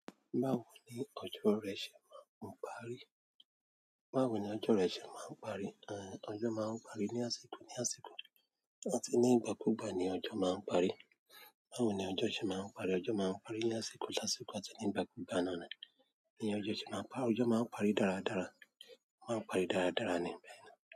Báwo ni ọjọ́ rẹ̀ ṣe máa ń parí? Báwo ni ọjọ́ rẹ̀ ṣe máa ń parí? Èè ọjọ́ máa ń parí ní àsìkò, ní àsìkò àti ní ìgbà kú ìgbà ni ọjọ́ máa ń parí. Báwo ni ọjọ e ṣe maa n parí? Ọjọ́ máa ń parí ní àsìkò lásìkò àti ní ìgbà kú ìgbà náà ni, ni ọjọ́ ṣe máa ń pa, ọjọ́ máa ń parí dára dára, máa ń parí dára dára ni bẹ́ẹ̀ ni.